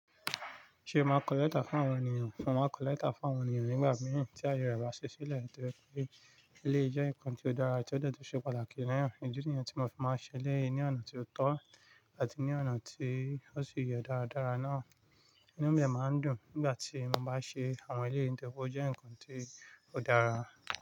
Ṣé o máa kọ lẹ́tà fún àwọn ènìyàn? Mo o máa kọ lẹ́tà fún àwọn ènìyàn nígbà mìí tí ayé rẹ bá ṣì sílẹ̀, ntorí pé eléyì jẹ́ nǹkan tí ó dára, tí ó dẹ̀ tù, ṣe pàtàkì náà. Ìdí nìyẹn tí mo fi máa ń ṣe eléyì ní ọ̀nà tí ó tọ́ àti ní ọ̀nà tí ó sì yẹ dáradára náà. Inú mi dẹ̀ máa ń dùn ń gbàtí mo bá ṣe àwọn eléyì nítorípé ó jẹ́ ǹkan tí odára.